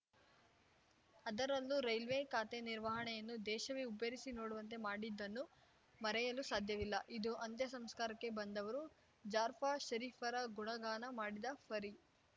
ಅದರಲ್ಲೂ ರೈಲ್ವೆ ಖಾತೆ ನಿರ್ವಹಣೆಯನ್ನು ದೇಶವೇ ಹುಬ್ಬೇರಿಸಿ ನೋಡುವಂತೆ ಮಾಡಿದ್ದನ್ನು ಮರೆಯಲು ಸಾಧ್ಯವಿಲ್ಲ ಇದು ಅಂತ್ಯಸಂಸ್ಕಾರಕ್ಕೆ ಬಂದವರು ಜಾರ್ಫ ಷರೀಫರ ಗುಣಗಾನ ಮಾಡಿದ ಪರಿ